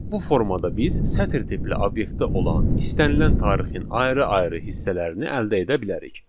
Bu formada biz sətr tipli obyektdə olan istənilən tarixin ayrı-ayrı hissələrini əldə edə bilərik.